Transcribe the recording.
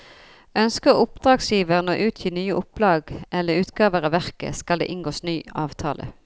Ønsker oppdragsgiveren å utgi nye opplag eller utgaver av verket, skal det inngås ny avtale.